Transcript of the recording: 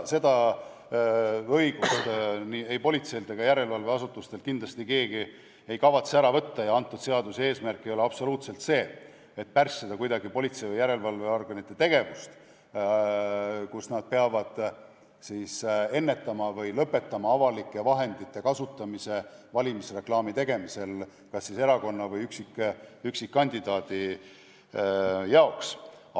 Seda õigust politseilt ega järelevalveasutustelt kindlasti keegi ära võtta ei kavatse ja antud seaduse eesmärk ei ole absoluutselt see, et kuidagi pärssida politsei või järelevalveorganite tegevust, kui nad peavad ennetama või lõpetama avalike vahendite kasutamise valimisreklaami tegemisel kas erakonna või üksikkandidaadi jaoks.